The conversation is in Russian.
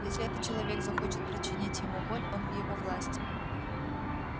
если этот человек захочет причинить ему боль он в его власти